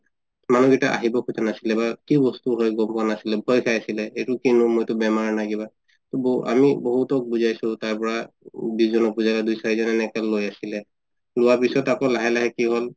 মানুহ কেইটা আহিব খুজা নাছিলে বা কি বস্তু হয় গম পুৱা নাছিলে ভয় খাই আছিলে এইটো কিয় লম বেমাৰ নাই কিবা ব আমি বহুতক বুজাইছো তাৰ পৰা দুই চাৰিজনে এনেকে লই আছিলে লুৱা পিছত আকৌ লাহে লাহে কি হল